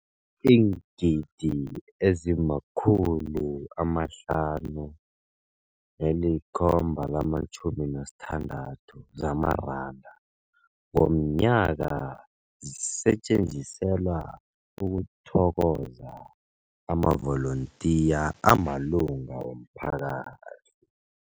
Iingidi ezima-576 zamaranda ngomnyaka zisetjenziselwa ukuthokoza amavolontiya amalunga womphakathi.